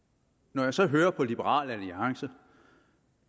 når jeg så hører på liberal alliance